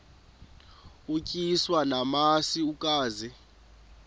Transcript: utyiswa namasi ukaze